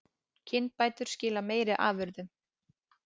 Kynbætur skila meiri afurðum